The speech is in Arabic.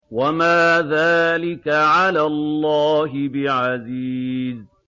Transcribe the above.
وَمَا ذَٰلِكَ عَلَى اللَّهِ بِعَزِيزٍ